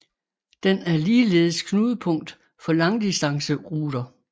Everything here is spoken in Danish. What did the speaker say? Den er ligeledes knudepunkt for langdistanceruter